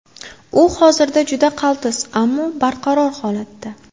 U hozirda juda qaltis, ammo barqaror holatda.